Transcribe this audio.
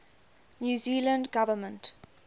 new zealand government